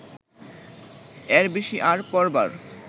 এর বেশি আর পড়বার